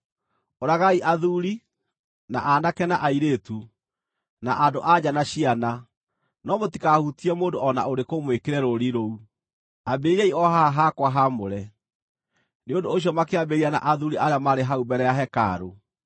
Ũragai athuuri, na aanake na airĩtu, na andũ-a-nja na ciana, no mũtikahutie mũndũ o na ũrĩkũ mwĩkĩre rũũri rũu. Ambĩrĩriai o haha hakwa haamũre.” Nĩ ũndũ ũcio makĩambĩrĩria na athuuri arĩa maarĩ hau mbere ya hekarũ.